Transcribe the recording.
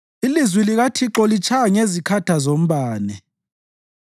Ilizwi likaThixo litshaya ngezikhatha zombane.